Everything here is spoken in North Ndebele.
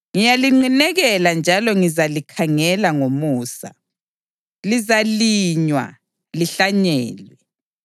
Ngiyalinqinekela njalo ngizalikhangela ngomusa; lizalinywa lihlanyelwe,